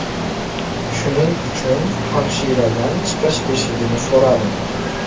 Shuning uchun hamshiradan chiqish eshigini so‘radim.